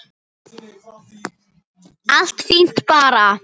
Allt fínt bara.